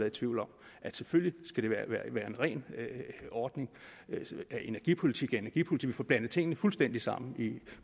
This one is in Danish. i tvivl om at selvfølgelig skal det være en ren ordning altså at energipolitik er energipolitik vi får blandet tingene fuldstændig sammen